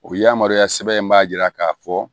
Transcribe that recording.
O yamaruya sɛbɛn in b'a jira k'a fɔ